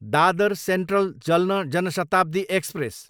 Dadar central, जल्न Jan Shatabdi express